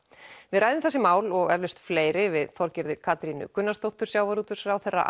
við ræðum þessi mál og eflaust fleiri við Þorgerði Katrínu Gunnarsdóttur sjávarútvegsráðherra